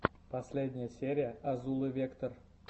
последняя серия азулы вектор